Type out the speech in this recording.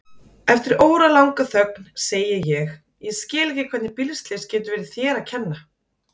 Eftir óralanga þögn segi ég: Ég skil ekki hvernig bílslys getur verið þér að kenna.